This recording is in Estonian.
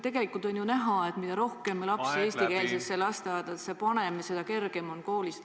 Tegelikult on ju näha, et mida rohkem lapsi eestikeelsetesse lasteaedadesse pannakse, seda kergem on koolis.